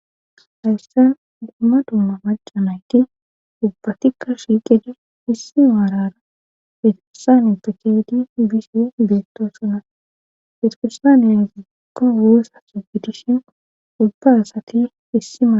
hayssa gumma dumma macamayki ubbatikka shiiqide issi maarara hetufisane takeedi bishi beetto sona hetukusaaniya zeekko woossa subidishin ubba asati issima